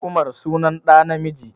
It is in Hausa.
Umar sunan ɗa namiji